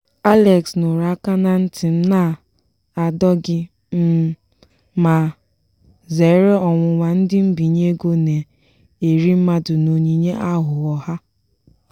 alex nụrụ aka na nti m na-adọ gị um ma zeere ọnwụnwa ndị mbinye ego na-eri mmadụ na onyinye aghụghọ ha.